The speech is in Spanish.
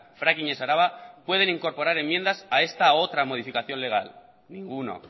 fracking ez araba pueden incorporar enmiendas a esta u otra modificación legal ninguno